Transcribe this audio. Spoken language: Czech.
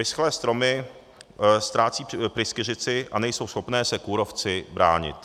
Vyschlé stromy ztrácejí pryskyřici a nejsou schopné se kůrovci bránit.